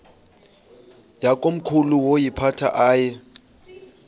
yakomkhulu woyiphatha aye